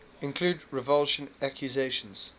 include revulsion accusations